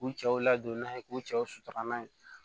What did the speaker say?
K'u cɛw ladon n'a ye k'u cɛw sutura n'a ye